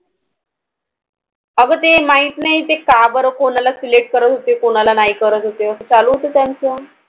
अगं ते माहित नाही ते का बरं कोणाला Select करत होते, कोणाला नाही करत होते असं चालू होतं त्यांचं,